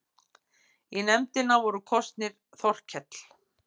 Í nefndina voru kosnir Þorkell